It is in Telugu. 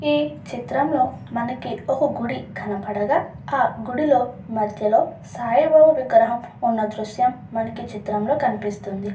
ఈ చిత్రం లో మనకి ఒక గుడి కనబడగా ఆ గిడి మద్యలో సాయిబాబా విగ్రహం ఉన్నట్లు మనకి ఈ దృశ్యం లో కనిపిస్తుంది.